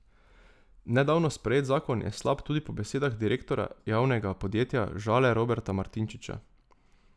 Nedavno sprejet zakon je slab tudi po besedah direktorja Javnega podjetja Žale Roberta Martinčiča.